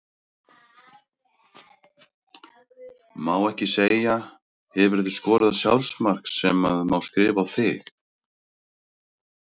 Má ekki segja Hefurðu skorað sjálfsmark sem að má skrifa á þig?